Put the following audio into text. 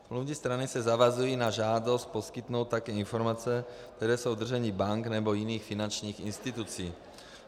Smluvní strany se zavazují na žádost poskytnout tak informace, které jsou v držení bank nebo jiných finančních institucí.